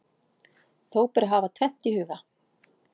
Þó ber að hafa tvennt í huga.